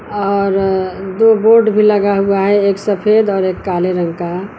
और दो बोर्ड भी लगा हुआ है एक सफेद और एक काले रंग का।